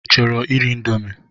Ị chọrọ iri indomi?